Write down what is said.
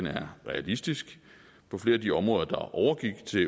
er realistisk på flere af de områder der overgik til